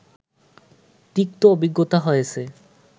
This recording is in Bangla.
তিক্ত অভিজ্ঞতা হয়েছে